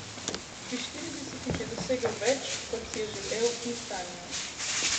Pri štiridesetih je dosegel več, kot si je želel in sanjal.